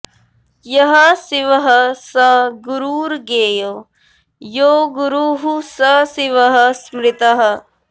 यः शिवः स गुरुर्ज्ञेयो यो गुरुः स शिवः स्मृतः